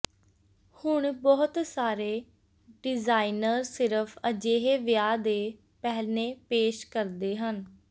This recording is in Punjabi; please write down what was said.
ਹੁਣ ਬਹੁਤ ਸਾਰੇ ਡਿਜ਼ਾਇਨਰ ਸਿਰਫ ਅਜਿਹੇ ਵਿਆਹ ਦੇ ਪਹਿਨੇ ਪੇਸ਼ ਕਰਦੇ ਹਨ